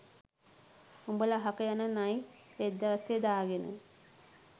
උඹල අහක යන නයි රෙද්ද අස්සේ දාගෙන